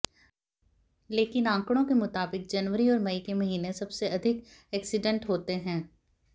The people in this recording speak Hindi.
लेकिन आंकड़ों के मुताबिक जनवरी और मई के महीने सबसे अधिक एक्सीडेंट होते हैं